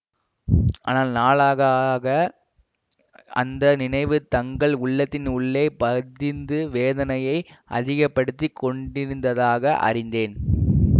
ஆனால் நாளாக ஆக அந்த நினைவு தங்கள் உள்ளத்தின் உள்ளே பதிந்து வேதனையை அதிக படுத்தி கொண்டிருந்ததாக அறிந்தேன்